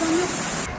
Adamı adam yoxdur.